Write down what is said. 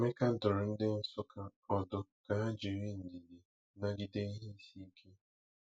Emeka dụrụ ndị Nsukka ọdụ ka ha jiri ndidi nagide ihe isi ike.